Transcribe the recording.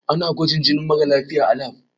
Ana gwajin jinin mara lafiya a lab.